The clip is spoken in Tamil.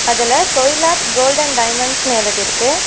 அதுல கொயிலாட் கோல்டன் டைமண்ட்ஸ்னு எழுதிருக்கு.